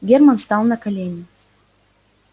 германн стал на колени